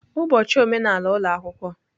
Ụbọchị omenala ụlọ akwụkwọ.